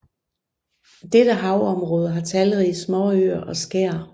Dette havområde har talrige småøer og skær